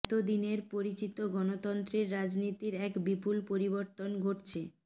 এত দিনের পরিচিত গণতন্ত্রের রাজনীতির এক বিপুল পরিবর্তন ঘটছে